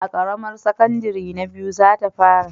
A ƙaramar sakandare ta biyu za ta fara